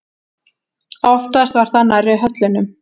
Oftast var það nærri höllunum.